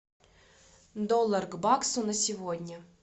доллар к баксу на сегодня